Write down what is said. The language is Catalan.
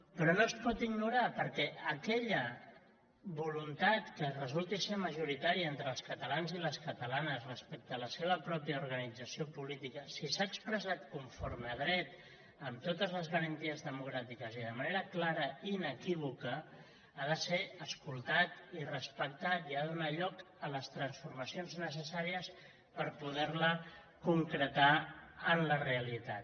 però no es pot ignorar perquè aquella voluntat que re·sulti ser majoritària entre els catalans i les catalanes respecte a la seva pròpia organització política si s’ha expressat conforme a dret amb totes les garanties de·mocràtiques i de manera clara i inequívoca ha de ser escoltat i respectat i ha de donar lloc a les transforma·cions necessàries per poder·la concretar en la realitat